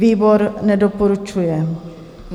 Výbor nedoporučuje.